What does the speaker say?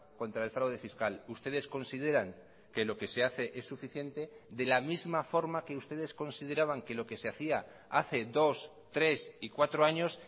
contra el fraude fiscal ustedes consideran que lo que se hace es suficiente de la misma forma que ustedes consideraban que lo que se hacía hace dos tres y cuatro años